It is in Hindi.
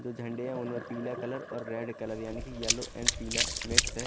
जो झंडे है उनमें पीला कलर और रेड कलर यानी कि येलो एंड पीला मिक्स है।